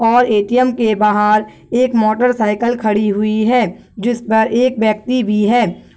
और ए.टी.एम. के बाहर एक मोटरसाइकिल खड़ी हुई है जिस पर एक व्यक्ति भी है।